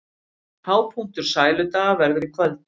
Hápunktur Sæludaga verður í kvöld